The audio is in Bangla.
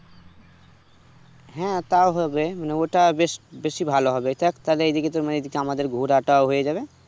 হ্যাঁ তাও হবে ওটা বেশবেশি ভালো হবে তাহলে তুমি এদিকে আমাদের ঘুরাটাও হয়ে যাবে